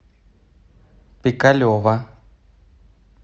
пикалево